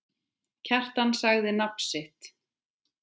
Kjartan sagði nafn sitt.